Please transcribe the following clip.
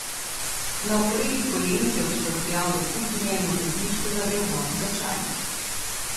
Na okorelih kolenih je odštorkljal do kuhinje in v kotličku zavrel vodo za čaj.